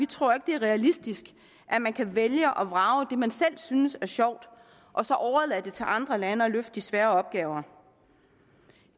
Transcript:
tror at det er realistisk at man kan vælge og vrage og bare det man selv synes er sjovt og så overlade det til andre lande at løfte de svære opgaver